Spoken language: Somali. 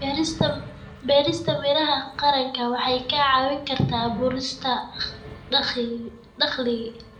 Beerista miraha qaranka waxay kaa caawin kartaa abuurista dakhli.